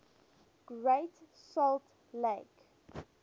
great salt lake